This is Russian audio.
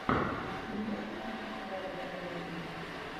ты можешь включить трагикомедию